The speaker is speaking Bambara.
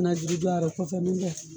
Ni bɛna juru ja a rɔ kosɛbɛ n'tɛ